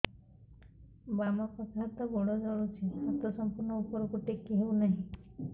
ବାମପାଖ ହାତ ଗୋଡ଼ ଜଳୁଛି ହାତ ସଂପୂର୍ଣ୍ଣ ଉପରକୁ ଟେକି ହେଉନାହିଁ